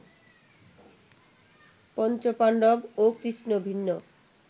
পঞ্চ পাণ্ডব ও কৃষ্ণ ভিন্ন